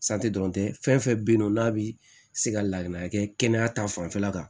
dɔrɔn tɛ fɛn fɛn be yen nɔ n'a bi se ka lakana kɛ kɛnɛya ta fanfɛla kan